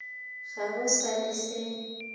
ga go sa le se